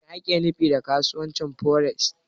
Me ake nufi da kasuwancin Foreks?